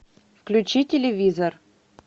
включи телевизор